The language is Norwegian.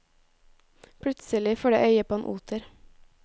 Plutselig får de øye på en oter.